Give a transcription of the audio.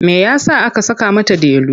Me ya sa aka saka mata Delu?